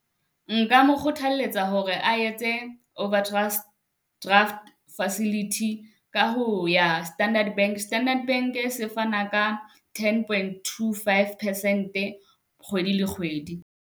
Nka mo kgothaletsa hore a etse over overdraft facility ka ho ya Standard Bank. Standard Bank-e se fana ka ten point, two, five percent-e kgwedi le kgwedi.